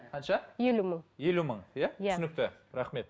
қанша елу мың елу мың иә түсінікті рахмет